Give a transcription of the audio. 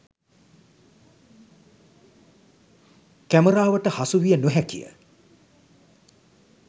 කැමරාවට හසු විය නොහැකිය